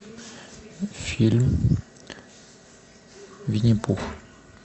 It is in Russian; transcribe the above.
фильм винни пух